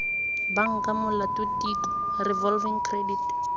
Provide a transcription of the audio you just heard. banka molato tiko revolving credit